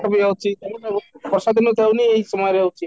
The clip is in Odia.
ବି ଅଛି ତେଣୁ ବର୍ଷା ଦିନ ତାହେନେ ଏଇ ସମୟରେ ହଉଛି